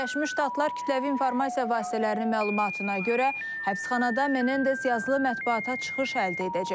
Birləşmiş Ştatlar kütləvi informasiya vasitələrinin məlumatına görə həbsxanada Menendez yazılı mətbuata çıxış əldə edəcək.